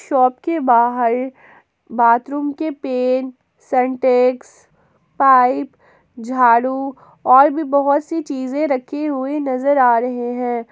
Shop के बाहर bathroom के पेंट सेंटेक्स पाइप झाड़ू और भी बहोत सी चीजें रखी हुई नजर आ रहे हैं।